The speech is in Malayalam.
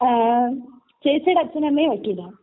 ങാ...ചേച്ചീടെ അച്ഛനുമമ്മയും വക്കീലാ..